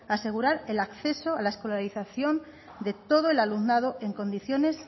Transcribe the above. asegurar el acceso a la escolarización de todo el alumnado en condiciones